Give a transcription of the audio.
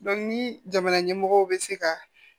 ni jamana ɲɛmɔgɔw bɛ se ka